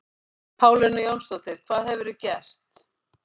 Pálína Jónsdóttir, hvað hefurðu gert?